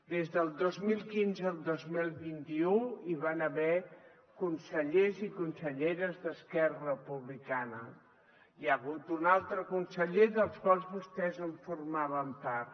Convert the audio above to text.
des del dos mil quinze al dos mil vint u hi van haver consellers i conselleres d’esquerra republicana i hi ha hagut un altre conseller dels quals vostès en formaven part